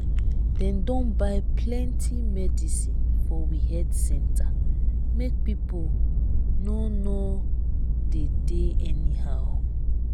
dem don buy plenty medicin for we health center make pipo no no dey dey anyhow.